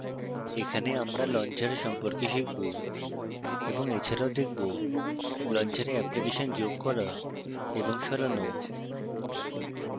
এখানে আমরা launcher সম্পর্কে শিখব এবং এছাড়াও দেখবো: